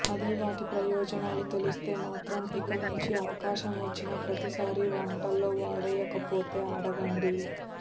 అదే వాటి ప్రయోజనాలు తెలిస్తే మాత్రం ఇక నుంచి అవకాశం వచ్చిన ప్రతిసారి వంటల్లో వాడేయకపోతే అడగండి